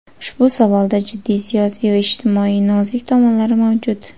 Ushbu savolda jiddiy siyosiy va ijtimoiy nozik tomonlari mavjud.